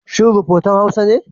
Shin rafotan Hausa ne?